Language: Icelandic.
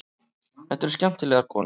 Þetta eru skemmtilegar konur.